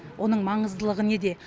оның маңыздылығы неде